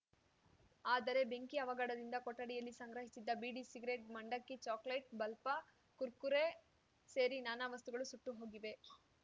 ಆದರೆ ಬೆಂಕಿ ಅವಘಡದಿಂದ ಕೊಠಡಿಯಲ್ಲಿ ಸಂಗ್ರಹಿಸಿದ್ದ ಬೀಡಿ ಸಿಗರೇಟ್‌ ಮಂಡಕ್ಕಿ ಚಾಕೋಲೆಟ್‌ ಬಲ್ಪ್‌ ಕುರ್‌ಕುರೆ ಸೇರಿ ನಾನಾ ವಸ್ತುಗಳು ಸುಟ್ಟು ಹೋಗಿವೆ